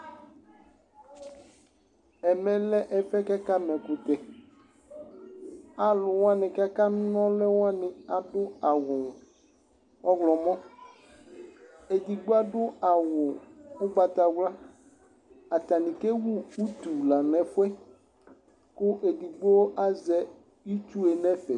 ɛmɛ lɛ ɛƒʋɛ kʋ aka ma ɛkʋtɛ, alʋwani kʋ aka nɔlʋ wani adʋ awʋ ɔwlɔmɔ, ɛdigbɔ adʋ awʋ ɔgbatawla, atani kɛwʋ ʋtʋ lanʋ ɛƒʋɛ kʋ ɛdigbɔ azɛ itsʋɛ nʋ ɛƒɛ